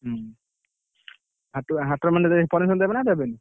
ହୁଁ, ହାଟରେ ମାନେ ଗଲେ, ପରେ ଗଲେ ଦେବେ ନା ଦେବେନି?